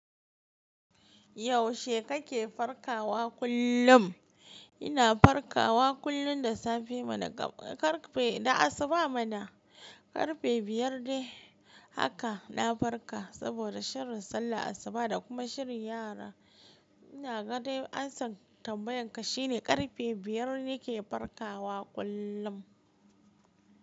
Yaushe kake farkawa kullum? Ina farkawa kullum da safe mana karfe, da asuba mana. Karfe biyar dai haka na farka, saboda shirin sallah asuba da kuma shirin yara. Ina ganin ansan tambayan ka shine karfe biyar nake farkawa kullum.